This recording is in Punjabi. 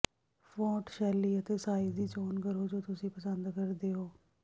ਫੌਂਟ ਸ਼ੈਲੀ ਅਤੇ ਸਾਈਜ਼ ਦੀ ਚੋਣ ਕਰੋ ਜੋ ਤੁਸੀਂ ਪਸੰਦ ਕਰਦੇ ਹੋ